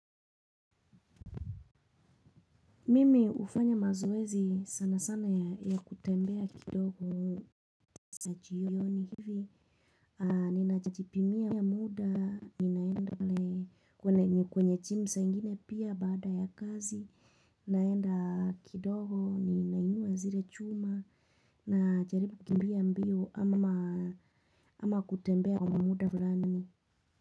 Mimi ufanya mazoezi sana sana ya kutembea kidogo sa jioni hivi. Ninajipimia muda, ninaenda kwenye chim saa ingine pia baada ya kazi. Naenda kidogo, ninainua zire chuma najaribu kimbia mbio ama kutembea kwa muda flani.